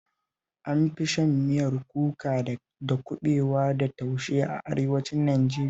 An fi shan miyar kuka da kuɓewa da taushe a Arewacin Najeriya